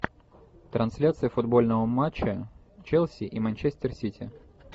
трансляция футбольного матча челси и манчестер сити